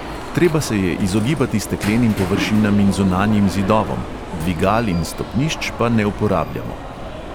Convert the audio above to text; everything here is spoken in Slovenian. Treba se je izogibati steklenim površinam in zunanjim zidovom, dvigal in stopnišč pa ne uporabljamo.